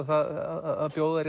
það að bjóða